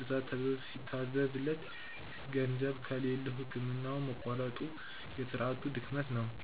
ግዛ ተብሎ ሲታዘዝለት፤ ገንዘብ ከሌለው ሕክምናውን ማቋረጡ የሥርዓቱ ድክመት ነው።